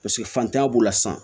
Paseke fantanya b'o la san